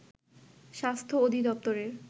স্বাস্থ্য অধিদপ্তরের